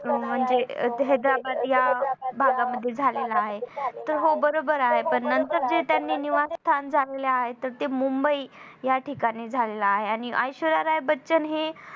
म्हणजे हेंद्राबाद या भागामध्ये झालेला आहे. तर हो बरोबर आहे पण नंतर जे त्यांनी निवांत स्थान झालेलं आहे. तर ते मुंबई या ठिकाणी झालेले आहे आणि ऐश्वर्या राय बच्चन हे